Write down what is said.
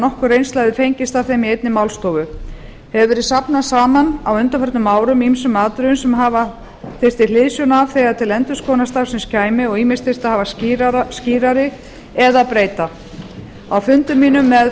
nokkur reynsla hefði fengist af þeim í einni málstofu hefur því verið safnað saman á undanförum árum ýmsum atriðum sem hafa þyrfti hliðsjón af þegar til endurskoðunar starfsins kæmi og ýmist þyrfti að hafa skýrari eða breyta á fundum mínum með